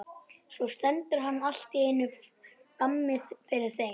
Svo stendur hann allt í einu frammi fyrir þeim.